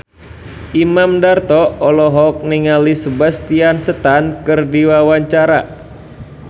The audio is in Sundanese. Imam Darto olohok ningali Sebastian Stan keur diwawancara